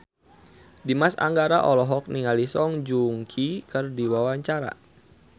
Dimas Anggara olohok ningali Song Joong Ki keur diwawancara